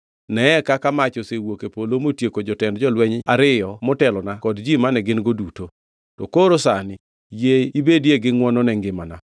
Neye kaka mach osewuok e polo motieko jotend jolweny ariyo motelona kod ji mane gin-go duto. To koro sani yie ibedie gi ngʼwono ne ngimana!”